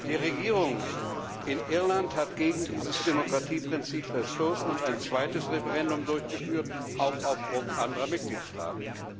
Die Regierung in Irland hat gegen dieses Demokratieprinzip verstoßen und ein zweites Referendum durchgeführt, auch auf Druck anderer Mitgliedstaaten.